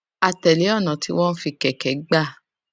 a tèlé ònà tí wón fi kèké gbà